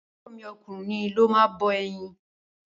Àbúrọ̀ mi ọkùnrin ló máa bọ ẹyin.